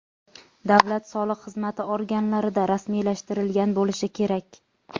davlat soliq xizmati organlarida rasmiylashtirilgan bo‘lishi kerak;.